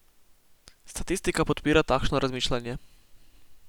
Statistika podpira takšno razmišljanje.